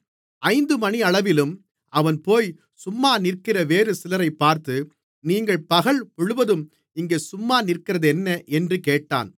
ஐந்துமணியளவிலும் அவன்போய் சும்மா நிற்கிற வேறு சிலரைப் பார்த்து நீங்கள் பகல் முழுவதும் இங்கே சும்மா நிற்கிறதென்ன என்று கேட்டான்